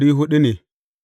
Yawan mutanen sashensa ne.